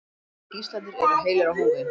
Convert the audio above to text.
Allir gíslarnir eru heilir á húfi